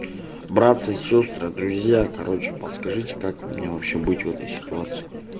братцы сестры друзья короче подскажите как мне вообще быть в этой ситуации